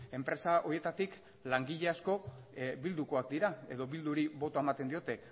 enpresa horietatik langile asko bildukoak dira edo bilduri botoa ematen diote